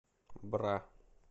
бра